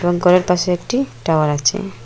গরের পাশে একটি টাওয়ার আছে।